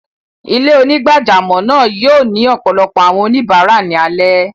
Ilẹ̀-onígbàjàmọ́ náà yóò ni ọpọlọpọ̀ awọn oníbarà ni alẹ.